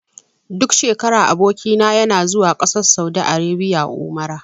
Duk shekara aboki na yana zuwa ƙasar saudi arabia umra.